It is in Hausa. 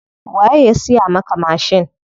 Waye ya siya maka mashin?